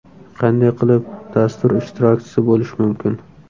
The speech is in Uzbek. Qanday qilib dastur ishtirokchisi bo‘lish mumkin?